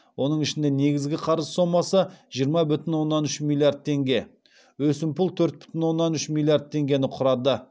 оның ішінде негізгі қарыз сомасы жиырма бүтін оннан үш миллиард теңге өсімпұл төрт бүтін оннан үш миллиард теңгені құрады